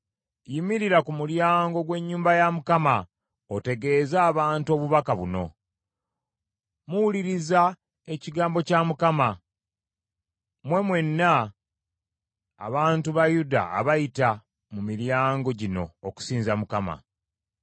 Yimirira ku mulyango gw’ennyumba ya Mukama otegeeze abantu obubaka buno. Muwuliriza ekigambo kya Mukama , mmwe mwenna abantu ba Yuda abayita mu miryango gino okusinza Mukama .